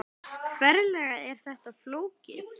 Ferlega er þetta flókið!